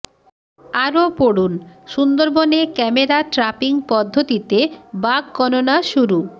আরো পড়ুন সুন্দরবনে ক্যামেরা ট্রাপিং পদ্ধতিতে বাঘ গণনা শুরু